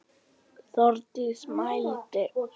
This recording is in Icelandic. Þórdís mælti: